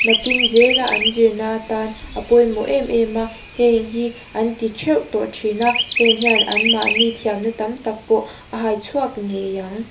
nakin zela an zirna atan a pawimawh em em a heI hi an ti theuh tawh thin a heng hian anmahni thiamna tam tak pawh a haichhuak ngei ang.